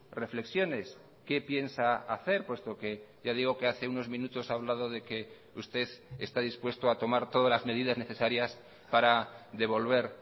reflexiones qué piensa hacer puesto que ya digo que hace unos minutos ha hablado de que usted está dispuesto a tomar todas las medidas necesarias para devolver